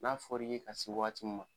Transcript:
N'a fɔr'i ye ka se wagati m ma